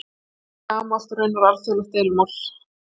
Þetta er mjög gamalt og raunar alþjóðlegt deilumál.